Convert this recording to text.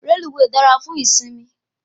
Reluwe dára fún ìsimi